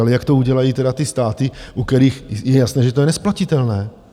Ale jak to udělají tedy ty státy, u kterých je jasné, že to je nesplatitelné?